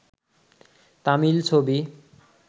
তামিল ছবি